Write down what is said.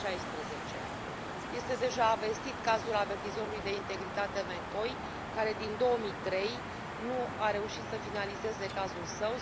2016. Este deja vestit cazul avertizorului de integritate McCoy, care din 2003, nu a reușit să finalizeze cazul său.